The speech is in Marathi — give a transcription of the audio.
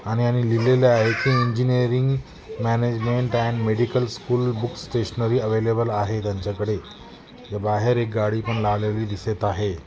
आणि आणि लिहलेले आहे की engineering management and medical school books stationery available आहे त्यांच्याकड़े बाहेर एक गाडी पण लावलेले दिसत आहे.